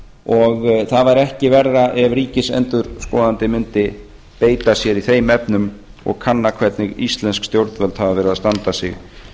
og það væri ekki verra ef ríkisendurskoðandi mundi beita sér í þeim efnum og kanna hvernig íslensk stjórnvöld hafa verið að standa sig í